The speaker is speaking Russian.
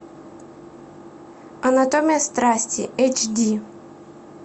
анатомия страсти эйч ди